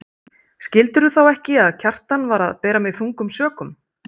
Skildirðu þá ekki að Kjartan var að bera mig þungum sökum?